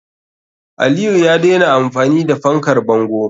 Aliyu ya daina amfani da fankar bango.